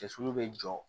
Cɛsiri bɛ jɔ